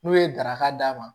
N'u ye daraka d'a ma